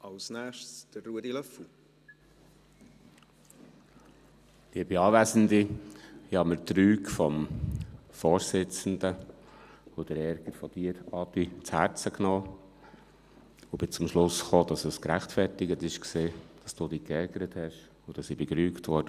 Ich habe mir die Rüge des Vorsitzenden und den Ärger von Adrian Haas zu Herzen genommen und bin zum Schluss gekommen, dass es gerechtfertigt war, dass er sich geärgert hat und dass ich gerügt wurde.